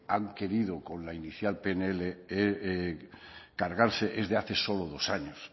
han querido con la inicial pnl cargarse es de hace solo dos años